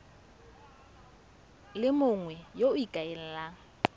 le mongwe yo o ikaelelang